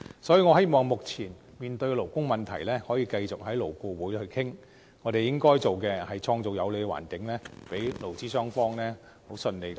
所以，我希望目前面對的勞工問題，可以繼續在勞顧會討論，而我們應該創造有利的環境，讓勞資雙方可以順利討論。